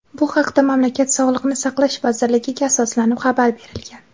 Bu haqda mamlakat Sog‘liqni saqlash vazirligiga asoslanib xabar berilgan.